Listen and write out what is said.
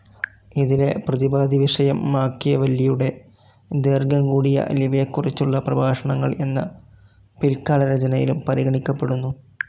ഇതിലെ പ്രതിപാദ്യവിഷയം മാക്കിയെവെല്ലിയുടെ ദൈർഘ്യം കൂടിയ ലിവിയെക്കുറിച്ചുള്ള പ്രഭാഷണങ്ങൾ എന്ന പിൽക്കാലരചനയിലും പരിഗണിക്കപ്പെടുന്നു.